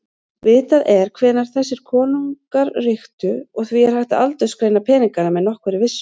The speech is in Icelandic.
Vitað er hvenær þessir konungar ríktu og því hægt að aldursgreina peningana með nokkurri vissu.